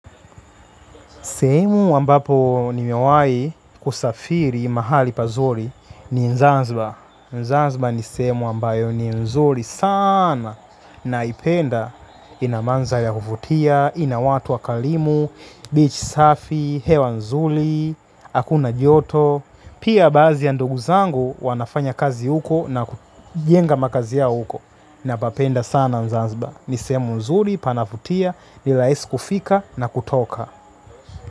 Sehemu ambapo nimewai kusafiri mahali pazuri ni zanzibar. Zanzbar ni semu ambayo ni nzuri sana. Naipenda ina mandhari ya kuvutia, ina watu wa kalimu, beach safi, hewa nzuri, hakuna joto. Pia baadhi ya ndugu zangu wanafanya kazi huko na kujenga makazi yao huko. Na papenda sana zanzibar, nisehemu nzuri, panavutia, nirahisi kufika na kutoka.